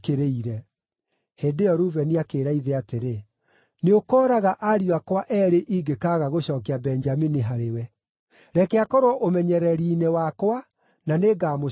Hĩndĩ ĩyo Rubeni akĩĩra ithe atĩrĩ, “Nĩũkooraga ariũ akwa eerĩ ingĩkaaga gũcookia Benjamini harĩwe. Reke akorwo ũmenyereri-inĩ wakwa, na nĩngamũcookia.”